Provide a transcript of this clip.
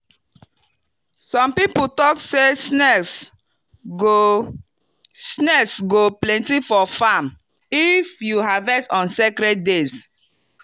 some people talk say snakes go snakes go plenty for farm if you harvest on sacred days.